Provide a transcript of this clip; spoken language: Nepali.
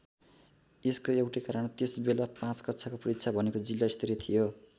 यसको एउटै कारण त्यस बेला ५ कक्षाको परीक्षा भनेको जिल्ला स्तरीय थियो।